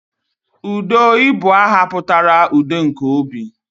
Udo I bu aha putara 'udo nke obi'